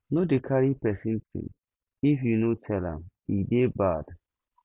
no dey carry pesin tin if you no tell am e dey bad